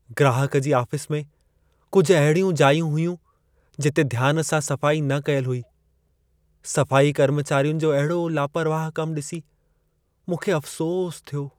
ग्राहक जी आफ़िस में कुझु अहिड़ियूं जायूं हुयूं, जिते ध्यान सां सफ़ाई न कयल हुई। सफ़ाई कर्मचारियुनि जो अहिड़ो लापरवाह कम ॾिसी मूंखे अफ़्सोस थियो।